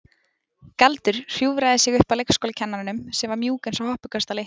Galdur hjúfraði sig upp að leikskólakennaranum sem var mjúk eins og hoppukastali.